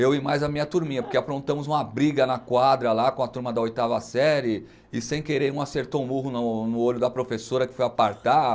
Eu e mais a minha turminha, porque aprontamos uma briga na quadra lá com a turma da oitava série e sem querer um acertou um murro no olho da professora que foi apartar.